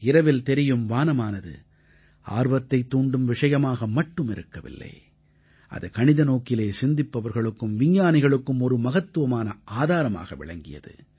இரவில் தெரியும் வானமானது ஆர்வத்தைத் தூண்டும் விஷயமாக மட்டும் இருக்கவில்லை அது கணித நோக்கிலே சிந்திப்பவர்களுக்கும் விஞ்ஞானிகளுக்கும் ஒரு மகத்துவமான ஆதாரமாக விளங்கியது